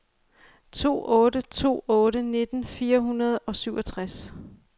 to otte to otte nitten fire hundrede og syvogtres